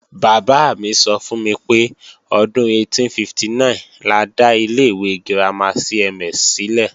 Bàbá mi sọ fún mi pé, ọdún 1859 la dá ilé ìwé girama CMS sílẹ̀